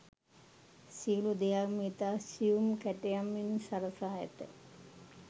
සියලු දෙයක්ම ඉතා සියුම් කැටයමින් සරසා ඇත.